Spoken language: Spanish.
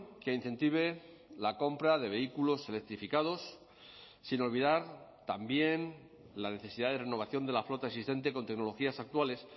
que incentive la compra de vehículos electrificados sin olvidar también la necesidad de renovación de la flota existente con tecnologías actuales